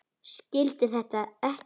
Skildi þetta ekki.